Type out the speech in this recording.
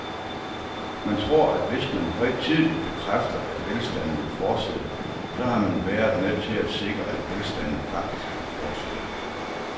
Man tror, at hvis man højtideligt bekræfter, at velstanden vil fortsætte, så har man været med til at sikre, at velstanden faktisk vil fortsætte.